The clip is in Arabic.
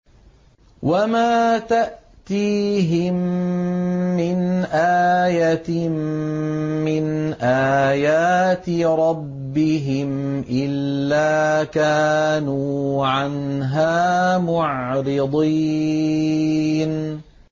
وَمَا تَأْتِيهِم مِّنْ آيَةٍ مِّنْ آيَاتِ رَبِّهِمْ إِلَّا كَانُوا عَنْهَا مُعْرِضِينَ